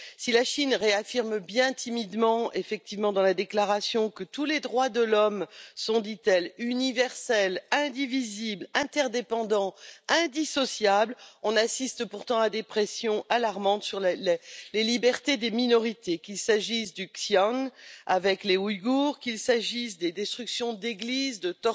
Si la Chine réaffirme bien timidement dans la déclaration que tous les droits de l'homme sont, dit elle, universels, indivisibles, interdépendants, indissociables, on assiste pourtant à des pressions alarmantes sur les libertés des minorités, qu'il s'agisse du Xinjiang avec les Ouïgours, qu'il s'agisse des destructions d'églises, des